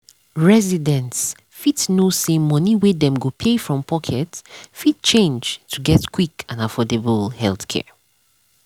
residents fit know say money wey dem go pay from pocket fit change to get quick and affordable healthcare.